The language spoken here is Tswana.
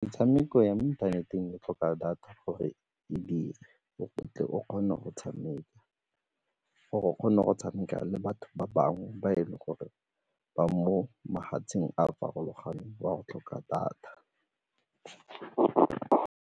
Metshameko ya mo inthaneteng o tlhoka data gore e dire gore o kgone go tshameka le batho ba bangwe ba e leng gore ba mo mafatsheng a a farologaneng wa go tlhoka data.